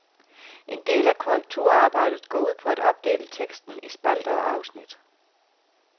En del af korrekturarbejdet går ud på at opdele teksten i spalter og afsnit.